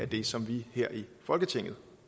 det som vi her i folketinget